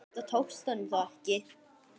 Þetta tókst honum þó ekki.